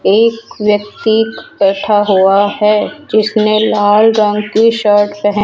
एक व्यक्ति बैठा हुआ है जिसने लाल रंग की शर्ट पहनी --